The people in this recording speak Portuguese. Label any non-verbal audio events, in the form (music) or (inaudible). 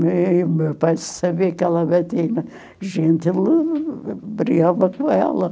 (unintelligible) Meu pai sabia que ela batia na gente, (unintelligible) brigava com ela.